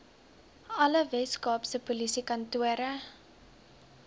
alle weskaapse polisiekantore